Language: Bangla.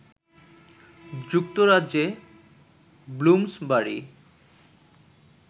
যুক্তরাজ্যে ব্লুমসবারি